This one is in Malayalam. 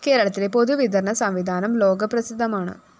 കേരളത്തിലെ പൊതുവിതരണ സംവിധാനം ലോകപ്രസിദ്ധമാണ്